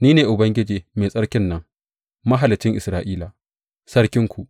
Ni ne Ubangiji, Mai Tsarkin nan, Mahaliccin Isra’ila, Sarkinku.